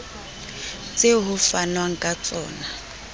tseo ho fanwang ka tsona